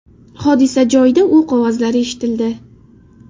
Hodisa joyida o‘q ovozlari eshitildi.